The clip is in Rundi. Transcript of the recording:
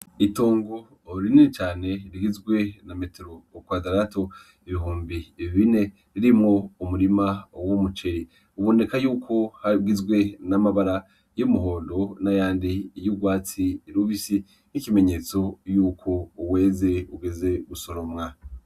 Itongo rinini cane rigizwe na metero kwadaratu ibihumbi bine birimwo umurima w'umuceri uboneka yuko hagizwe n'mabara y'umuhondo nayandi y'urwatsi rubisi nk'ikimenyetso yuko weze ugeze gusoromwa.